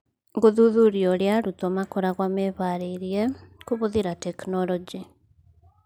Gũthuthuria ũrĩa arutwo makoragwo mehaarĩirie kũhũthĩra tekinoronjĩ